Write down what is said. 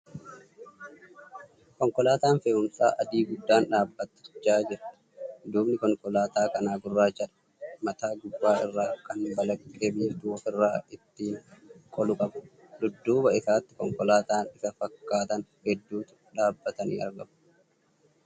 Konkolaataan fe'umsaa adii guddaan dhaabbachaa jira. Duubni konkolaataa kanaa gurraachadha . Mataa gubbaa irraa kan balaqqee biiftuu ofirraa ittiin qolu qaba. Dudduuba isaatti konkolaataawwan isa fakkaatan heduutu dhaabbatanii argamu .